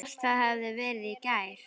Ég hélt það hefði verið í gær.